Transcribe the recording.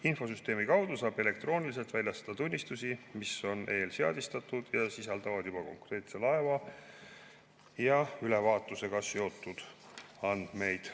Infosüsteemi kaudu saab elektrooniliselt väljastada tunnistusi, mis on eelseadistatud ja sisaldavad juba konkreetse laeva ja ülevaatusega seotud andmeid.